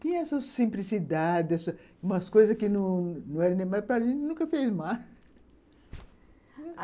Tinha essa simplicidade, essa, umas coisas que não não eram mas para mim, nunca fez mal.